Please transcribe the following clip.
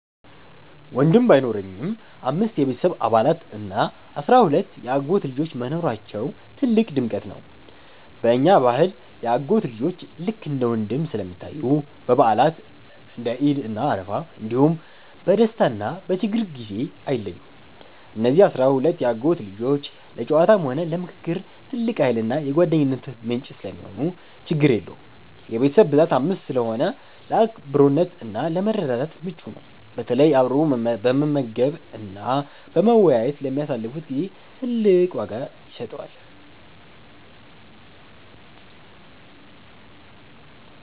ወንድም ባይኖረኝም፣ አምስት የቤተሰብ አባላት እና አሥራ ሁለት የአጎት ልጆች መኖራቸው ትልቅ ድምቀት ነው። በእኛ ባህል የአጎት ልጆች ልክ እንደ ወንድም ስለሚታዩ፣ በበዓላት (እንደ ዒድ እና አረፋ) እንዲሁም በደስታና በችግር ጊዜ አይለዩም። እነዚህ አሥራ ሁለት የአጎት ልጆች ለጨዋታም ሆነ ለምክክር ትልቅ ኃይልና የጓደኝነት ምንጭ ሰለሚሆኑ ችግር የለውም። የቤተሰብ ብዛት 5 ስለሆነ ለአብሮነትና ለመረዳዳት ምቹ ነው፤ በተለይ አብሮ በመመገብና በመወያየት ለሚያሳልፉት ጊዜ ትልቅ ዋጋ ይሰጠዋል።